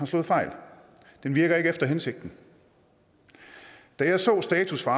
slået fejl den virker ikke efter hensigten da jeg så status for